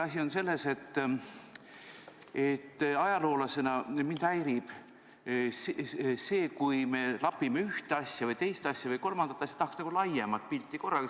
Asi on selles, et ajaloolasena mind häirib, kui me lapime ühte asja, teist asja või kolmandat asja, sest tahaks nagu laiemat pilti korraga.